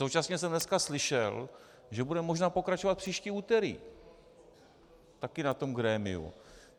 Současně jsem dneska slyšel, že budeme možná pokračovat příští úterý - také na tom grémiu.